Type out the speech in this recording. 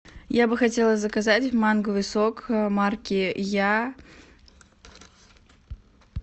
я бы хотела заказать манговый сок марки я